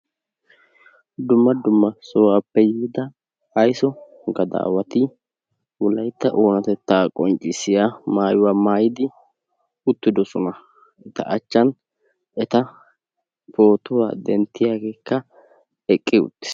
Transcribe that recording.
dumma dumma sohuwaappe yiida aysso gadaawati wolaytta oonatettaa qonccissiya a maayuwa maayidi uttidosona. eta matan pootiwaa denttiyaagee eqqi uttiis.